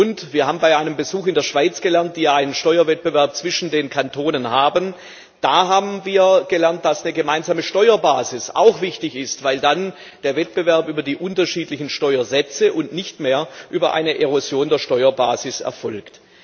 Und wir haben bei einem Besuch in der Schweiz, wo es einen Steuerwettbewerb zwischen den Kantonen gibt, gelernt, dass eine gemeinsame Steuerbasis auch wichtig ist, weil dann der Wettbewerb über die unterschiedlichen Steuersätze und nicht mehr über eine Erosion der Steuerbasis erfolgt.